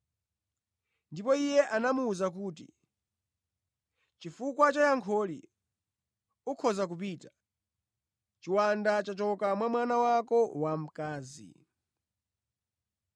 Ndipo Iye anamuwuza kuti, “Chifukwa cha yankholi, ukhoza kupita; chiwanda chachoka mwa mwana wako wamkazi.”